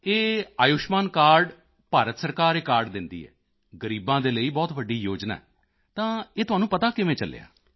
ਇਹ ਆਯੁਸ਼ਮਾਨ ਕਾਰਡ ਭਾਰਤ ਸਰਕਾਰ ਇਹ ਕਾਰਡ ਦਿੰਦੀ ਹੈ ਗ਼ਰੀਬਾਂ ਦੇ ਲਈ ਬਹੁਤ ਵੱਡੀ ਯੋਜਨਾ ਹੈ ਤਾਂ ਇਹ ਤੁਹਾਨੂੰ ਪਤਾ ਕਿਵੇਂ ਚੱਲਿਆ